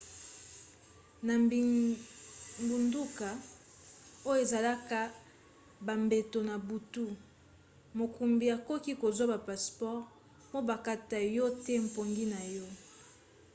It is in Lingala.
na bingbunduka oyo ezalaka bambeto na butu mokumbi akoki kozwa ba passeport mpo bakata yo te pongi na yo